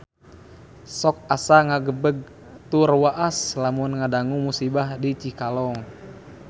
Sok asa ngagebeg tur waas lamun ngadangu musibah di Cikalong